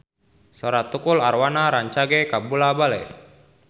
Sora Tukul Arwana rancage kabula-bale